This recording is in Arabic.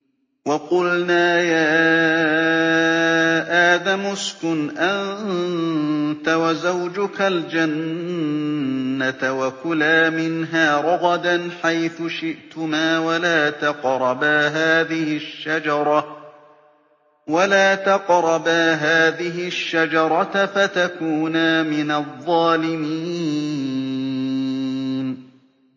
وَقُلْنَا يَا آدَمُ اسْكُنْ أَنتَ وَزَوْجُكَ الْجَنَّةَ وَكُلَا مِنْهَا رَغَدًا حَيْثُ شِئْتُمَا وَلَا تَقْرَبَا هَٰذِهِ الشَّجَرَةَ فَتَكُونَا مِنَ الظَّالِمِينَ